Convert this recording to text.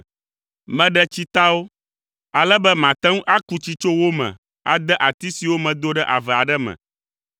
Meɖe tsitawo ale be mate ŋu aku tsi tso wo me ade ati siwo medo ɖe ave aɖe me.